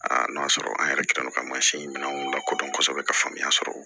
n'o y'a sɔrɔ an yɛrɛ kɛlen don ka mansin minɛnw lakodɔn kosɛbɛ ka faamuya sɔrɔ